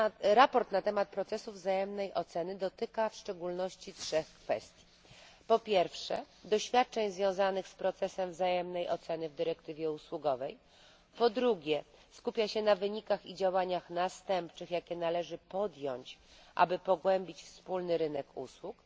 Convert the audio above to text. Sprawozdanie na temat procesu wzajemnej oceny dotyka w szczególności trzech kwestii po pierwsze doświadczeń związanych z procesem wzajemnej oceny w dyrektywie usługowej po drugie skupia się na wynikach i działaniach następczych, jakie należy podjąć, aby pogłębić wspólny rynek usług